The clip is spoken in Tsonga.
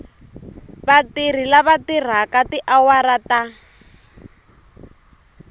vatirhi lava tirhaka tiawara ta